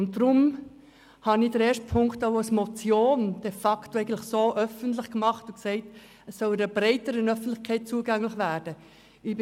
Deshalb habe ich Punkt 1 als Motion de facto öffentlich gemacht, weil dies einer breiteren Öffentlichkeit zugänglich gemacht werden soll.